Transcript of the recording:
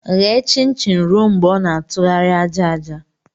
Ghe chin-chin ruo mgbe ọ na-atụgharị aja aja!